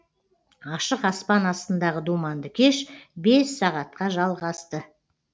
ашық аспан астындағы думанды кеш бес сағатқа жалғасты